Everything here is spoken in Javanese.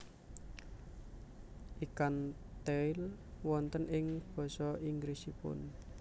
Ikan Tail wonten ing basa Inggrisipun